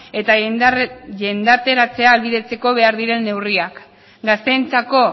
eta jendarteratzea ahalbidetzeko ahal diren neurriak gazteentzako